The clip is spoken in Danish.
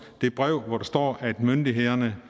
det brev hvor der står at myndighederne